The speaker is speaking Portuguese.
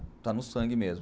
Está no sangue mesmo.